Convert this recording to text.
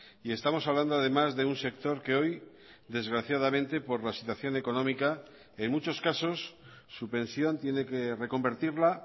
y estamos hablando además de un sector que hoy desgraciadamente por la situación económica en muchos casos su pensión tiene que reconvertirla